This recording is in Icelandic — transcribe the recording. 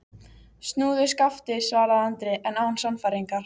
Snúðu skafti, svaraði Andri, en án sannfæringar.